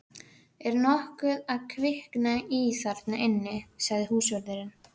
Er nokkuð að kvikna í þarna inni? sagði húsvörðurinn.